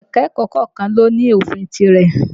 Ẹ̀ka-ẹ̀kọ́ kọ̀ọ̀kan ló ní ofin tirẹ̀